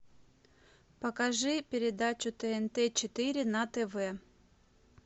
покажи передачу тнт четыре на тв